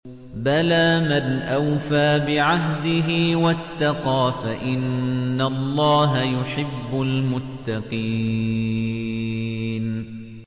بَلَىٰ مَنْ أَوْفَىٰ بِعَهْدِهِ وَاتَّقَىٰ فَإِنَّ اللَّهَ يُحِبُّ الْمُتَّقِينَ